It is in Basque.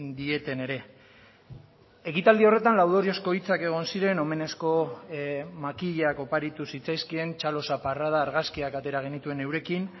dieten ere ekitaldi horretan laudoriozko hitzak egon ziren omenezko makilak oparitu zitzaizkien txalo zaparrada argazkiak atera genituen eurekin